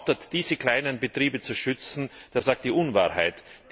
Wer also behauptet, diese kleinen Betriebe zu schützen, der sagt die Unwahrheit.